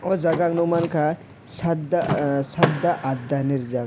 o jaga ang nog mangkha sadda ah sadda adda hinui rijak.